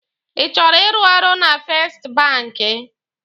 Ị chọrọ ịrụ ọrụ na fest banki?